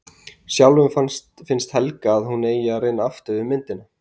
Sjálfum finnst Helga að hún eigi að reyna aftur við myndina.